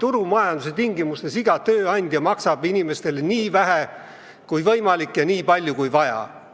Turumajanduse tingimustes iga tööandja maksab inimestele nii vähe kui võimalik ja nii palju kui vaja.